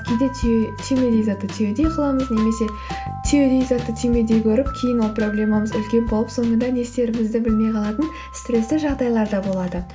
кейде түймедей затты түйедей қыламыз немесе түйедей затты түймедей көріп кейін ол проблемамыз үлкен болып соныңда не істерімізді білмей қалатын стрессті жағдайлар да болады